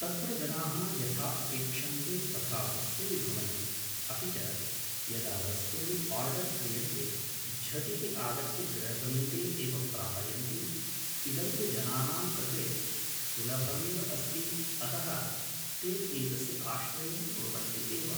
तत्र जनाः यथा अपेक्षन्ते तथा वस्तूनि भवन्ति अपि च यदा वस्तूनि ओर्डर् क्रियन्ते झटिति आगत्य गृहसमीपे एव प्रापयन्ति इदं तु जनानां कृते सुलभमेव अस्ति अतः ते एतस्य आश्रयं कुर्वन्ति एव